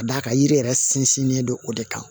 Ka d'a kan yiri yɛrɛ sinsinnen don o de kan